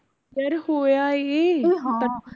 ਯਾਰ ਹੋਇਆ ਏ